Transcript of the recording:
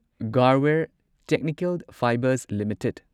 Garware technical fibres limited